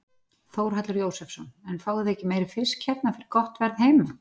Þórhallur Jósefsson: En fáið þið þá ekki meiri fisk hérna fyrir gott verð heima?